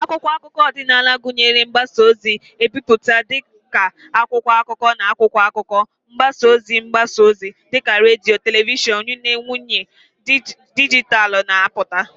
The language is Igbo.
Akwụkwọ akụkọ ọdịnala gụnyere mgbasa ozi ebipụta dị ka akwụkwọ akụkọ na akwụkwọ akụkọ, mgbasa ozi mgbasa ozi dị ka redio na telivishọn, yana nyiwe dijitalụ na-apụta.